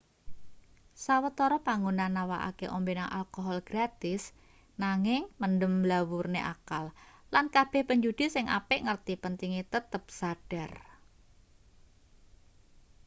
sawetara panggonan nawakake ombenan alkohol gratis nanging mendem mblawurne akal lan kabeh penjudi sing apik ngerti pentinge tetep sadhar